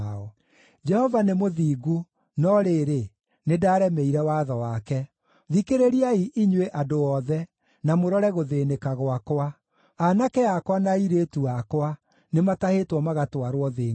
“Jehova nĩ mũthingu, no rĩrĩ, nĩndaremeire watho wake. Thikĩrĩriai, inyuĩ andũ othe, na mũrore gũthĩĩnĩka gwakwa. Aanake akwa na airĩtu akwa nĩmatahĩtwo magatwarwo thĩ ngʼeni.